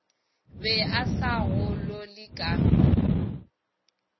be a sa golole ka